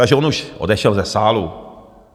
Takže on už odešel ze sálu.